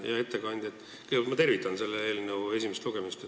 Hea ettekandja, kõigepealt ma tervitan selle eelnõu esimest lugemist.